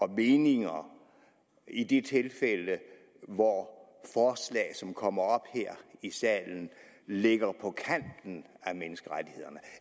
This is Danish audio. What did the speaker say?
meninger i de tilfælde hvor forslag som kommer op her salen ligger på kanten af menneskerettighederne